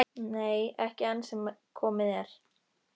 Nei, ekki enn sem komið er.